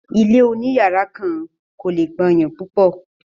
ilé òní yàrá kan kò le gbàyàn púpọ̀.